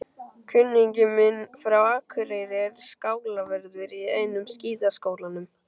Kunningi minn frá Akureyri er skálavörður í einum skíðaskálanum.